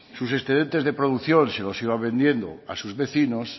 sus excedentes de producción los iba vendiendo a sus vecinos